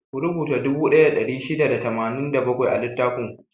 Ku rubuta dubu ɗaya da ɗari shida da tamanin da bakwai a littafin ku!